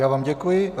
Já vám děkuji.